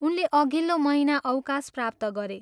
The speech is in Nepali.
उनले अघिल्लो महिना अवकाश प्राप्त गरे।